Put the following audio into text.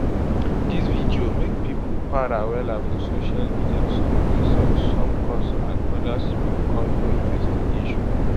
dis video make pipo para wella for social media some insult some curse and odas bin call for investigation